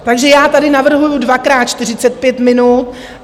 Takže já tady navrhuju dvakrát 45 minut.